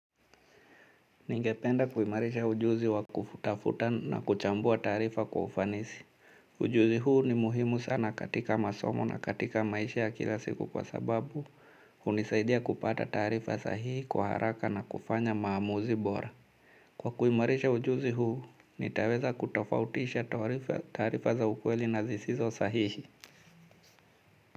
Ningependa kuimarisha ujuzi wa kufutafuta na kuchambua tarifa kwa ufanisi. Ujuzi huu ni muhimu sana katika masomo na katika maisha ya kila siku kwa sababu, unisaidia kupata tarifa sahihi kwa haraka na kufanya maamuzi bora. Kwa kuimarisha ujuzi huu, nitaweza kutofautisha tarifa za ukweli na zisizo sahihi.